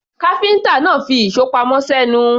Káfíńtà náà fi ìṣó pamọ́ sẹ́nu.